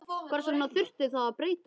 Hvers vegna þurfti það að breytast?